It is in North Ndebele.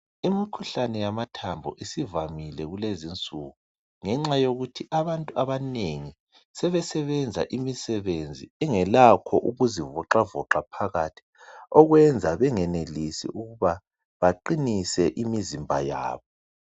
Imikhuhlane yamathambo isivamile kulezi insuku ngenxa yokuthi abantu abanengi sebesebenza engelakho ukuzivoxavoxa phakathi okwenza bengenilisi ukuba baqinise imizambo yabo.